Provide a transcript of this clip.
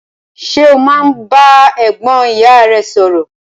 Ṣe o máa n bá ẹ̀gbọ́n ìyá rẹ sọrọ?